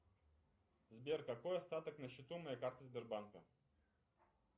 сбер какой остаток на счету моей карты сбербанка